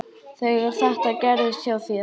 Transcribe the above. Þegar þetta gerðist hjá þér.